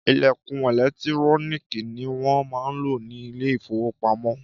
Ìlẹ̀kùn ẹ̀lẹ́tíróníkì ni wọn máa ń lò ni Ilé-ìfowópamó